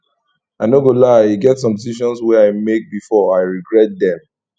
i no go lie e get some decisions wey i make before i regret dem